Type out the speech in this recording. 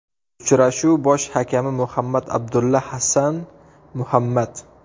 Uchrashuv bosh hakami Muhammad Abdulla Hassan Muhammad.